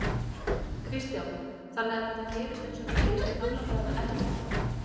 Kristján: Þannig að þetta gerist eins og það gerist í gamla daga ennþá?